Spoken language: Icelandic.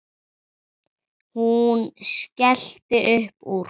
Hún skellti upp úr.